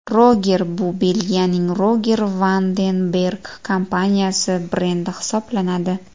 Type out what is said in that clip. Roger bu Belgiyaning Roger Vanden Berg kompaniyasi brendi hisoblanadi.